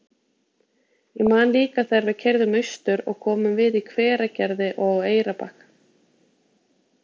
Ég man líka þegar við keyrðum austur og komum við í Hveragerði og á Eyrarbakka.